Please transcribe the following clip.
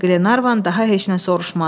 Qlenarvan daha heç nə soruşmadı.